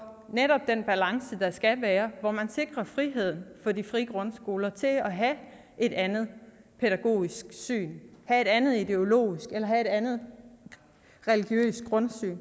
den balance der skal være man sikrer friheden for de frie grundskoler til at have et andet pædagogisk syn have et andet ideologisk eller religiøst grundsyn